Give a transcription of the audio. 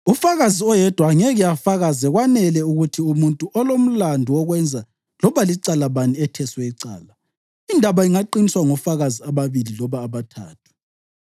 “Ufakazi oyedwa angeke afakaze kwanele ukuthi umuntu olomlandu wokwenza loba licala bani etheswe icala. Indaba ingaqiniswa ngofakazi ababili loba abathathu.